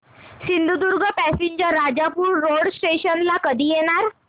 Sindhudurg passenger Rajapur road station ला कधी येणार